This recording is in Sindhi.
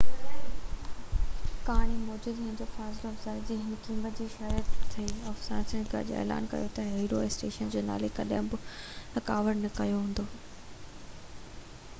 ڪهاڻي موجب هن جو حوصله افزائي هر قيمت تي شهرت هئي افسانين گڏجي اعلان ڪيو ته هيرو اسٽريٽس جو نالو ڪڏهن به رڪارڊ نه ڪيو ويندو